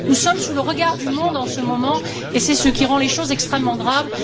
Nous sommes sous le regard du monde en ce moment et c'est ce qui rend les choses extrêmement graves.